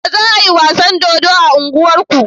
Yaushe za ayi wasan dodo a unguwar ku?